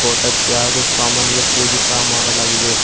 Photo ಕ್ಕೆ ಹಾಗು ಸಾಮಾನಿಗೆ ಪೂಜೆ ಸ ಮಾಡಲಾಗಿದೆ.